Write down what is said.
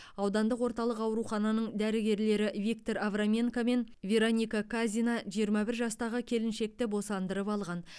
аудандық орталық аурухананың дәрігерлері виктор авраменко мен вероника казина жиырма бір жастағы келіншекті босандырып алған